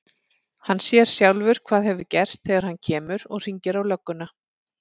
Hann sér sjálfur hvað hefur gerst þegar hann kemur. og hringir á lögguna.